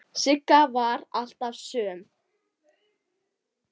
Sigga var alltaf söm.